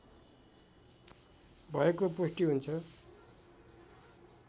भएको पुष्टि हुन्छ